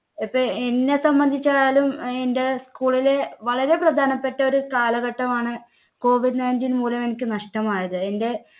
ഇപ്പോ എന്നെ സംബന്ധിച്ചായാലും എൻടെ school ലെ വളരെ പ്രധാനപ്പെട്ട ഒരു കാലഘട്ടമാണ് COVID nineteen മൂലം എനിക്ക് നഷ്ടമായത്. എൻടെ